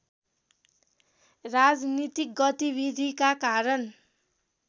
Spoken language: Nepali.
राजनीतिक गतिविधिका कारण